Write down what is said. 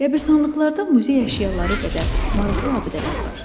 Qəbirstanlıqlarda muzey əşyaları qədər maraqlı abidələr var.